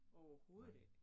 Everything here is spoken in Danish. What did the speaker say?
Overhovedet ikke!